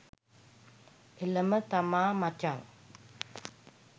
එලම තමා මචං